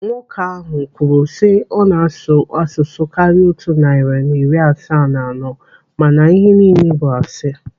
Nwoke ahụ kwuru sị ọ na-asụ asụsụ karịrị otu narị na iri asaa na anọ mana ihe niile bụ asị.